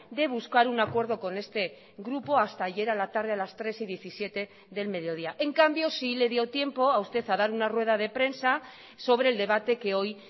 de buscar un acuerdo con este grupo hasta ayer a la tarde a las tres y diecisiete del mediodía en cambio sí le dio tiempo a usted a dar una rueda de prensa sobre el debate que hoy